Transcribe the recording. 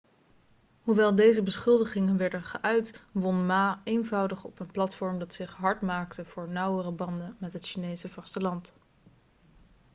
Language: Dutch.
hoewel deze beschuldigingen werden geuit won ma eenvoudig op een platform dat zich hard maakte voor nauwere banden met het chinese vasteland